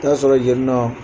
I bi t'a sɔrɔ yenƆ